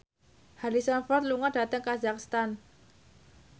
Harrison Ford lunga dhateng kazakhstan